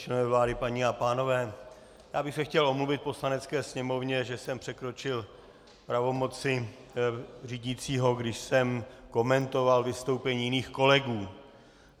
Členové vlády, paní a pánové, já bych se chtěl omluvit Poslanecké sněmovně, že jsem překročil pravomoci řídícího, když jsem komentoval vystoupení jiných kolegů.